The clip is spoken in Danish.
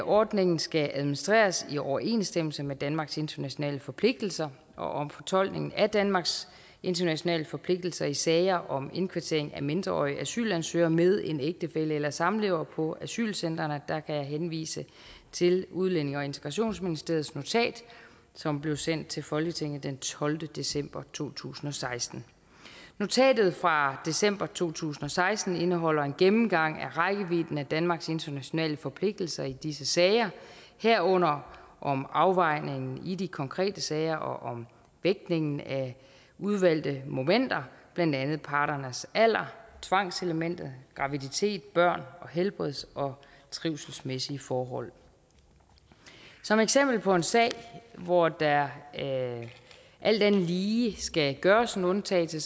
ordningen skal administreres i overensstemmelse med danmarks internationale forpligtelser og fortolkningen af danmarks internationale forpligtelser i sager om indkvartering af mindreårige asylansøgere med en ægtefælle eller samlever på asylcentrene og der kan jeg henvise til udlændinge og integrationsministeriets notat som blev sendt til folketinget den tolvte december to tusind og seksten notatet fra december to tusind og seksten indeholder en gennemgang af rækkevidden af danmarks internationale forpligtelser i disse sager herunder afvejningen i de konkrete sager og vægtningen af udvalgte momenter blandt andet parternes alder tvangselementet graviditet børn og helbreds og trivselsmæssige forhold som eksempel på en sag hvor der alt andet lige skal gøres en undtagelse